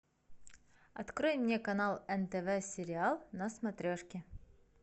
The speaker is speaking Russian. открой мне канал нтв сериал на смотрешке